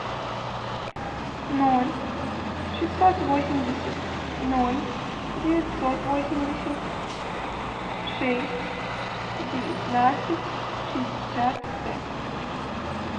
ноль шестьсот восемьдесят ноль девятьсот восемьдесят шесть девятнадцать шестьдесят пять